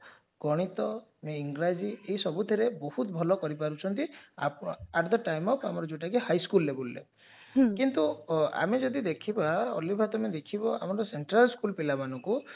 ଗଣିତ ଇଂରାଜି ଏଇ ସବୁଥିରେ ବହୁତ ବଢିଆ କରିପାରୁଛନ୍ତି at the time of ଆମର ଯାଉଟା କି high school levelରେ କିନ୍ତୁ ଆମେ ଯଦି ଦେଖିବା ଅଲିଭା ତମେ ଦେଖିବ ଆମ central school ପିଲାମାନଙ୍କୁ